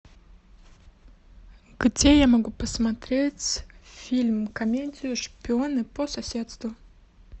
где я могу посмотреть фильм комедию шпионы по соседству